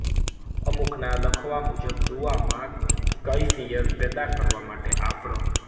અમુકના લખવા મુજબ દુઆમાં કયફિયત પેદા કરવા માટે આપ રહ